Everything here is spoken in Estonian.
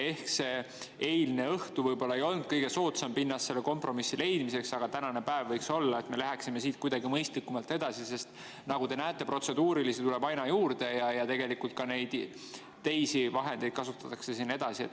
Eile õhtul võib-olla ei olnud kõige soodsamat pinnast selle kompromissi leidmiseks, aga täna võiks seda olla, et me saaksime minna siit mõistlikumalt edasi, sest nagu te näete, protseduurilisi tuleb aina juurde ja tegelikult ka teisi vahendeid kasutatakse siin edasi.